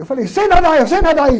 Eu falei, sei nadar, eu sei nadar.